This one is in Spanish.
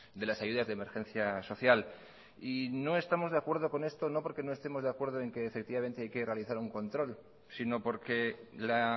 de las ayudas de emergencia social y no estamos de acuerdo con esto no porque no estemos de acuerdo en que efectivamente hay que realizar un control sino porque la